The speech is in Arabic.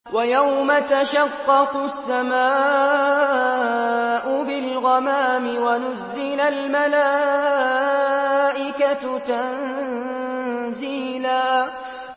وَيَوْمَ تَشَقَّقُ السَّمَاءُ بِالْغَمَامِ وَنُزِّلَ الْمَلَائِكَةُ تَنزِيلًا